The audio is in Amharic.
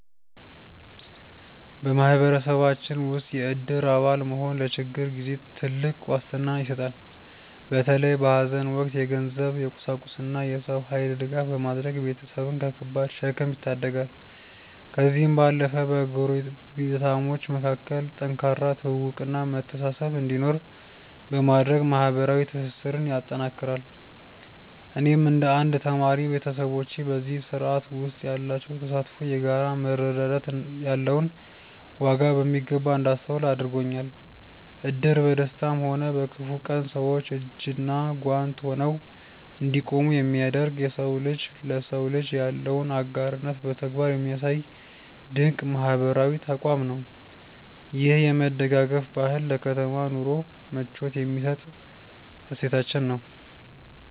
በማህበረሰባችን ውስጥ የእድር አባል መሆን ለችግር ጊዜ ትልቅ ዋስትና ይሰጣል። በተለይ በሐዘን ወቅት የገንዘብ፣ የቁሳቁስና የሰው ኃይል ድጋፍ በማድረግ ቤተሰብን ከከባድ ሸክም ይታደጋል። ከዚህም ባለፈ በጎረቤታሞች መካከል ጠንካራ ትውውቅና መተሳሰብ እንዲኖር በማድረግ ማህበራዊ ትስስርን ያጠናክራል። እኔም እንደ አንድ ተማሪ፣ ቤተሰቦቼ በዚህ ስርዓት ውስጥ ያላቸው ተሳትፎ የጋራ መረዳዳት ያለውን ዋጋ በሚገባ እንዳስተውል አድርጎኛል። እድር በደስታም ሆነ በክፉ ቀን ሰዎች እጅና ጓንት ሆነው እንዲቆሙ የሚያደርግ፣ የሰው ልጅ ለሰው ልጅ ያለውን አጋርነት በተግባር የሚያሳይ ድንቅ ማህበራዊ ተቋም ነው። ይህ የመደጋገፍ ባህል ለከተማ ኑሮ ምቾት የሚሰጥ እሴታችን ነው።